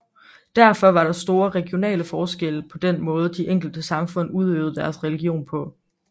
Derfor var der store regionale forskelle i den måde de enkelte samfund udøvede deres religion på